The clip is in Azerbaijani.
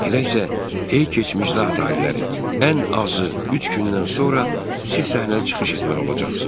Elə isə, ey keçmiş zat aliləri, ən azı üç gündən sonra siz səhnədə çıxış etməli olacaqsınız.